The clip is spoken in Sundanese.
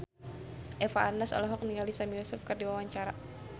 Eva Arnaz olohok ningali Sami Yusuf keur diwawancara